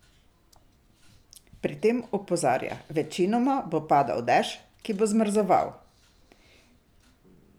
Pri tem opozarja: "Večinoma bo padal dež, ki bo zmrzoval.